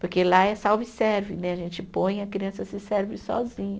Porque lá é self-service né, a gente põe e a criança se serve sozinha.